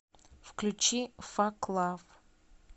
включи фак лав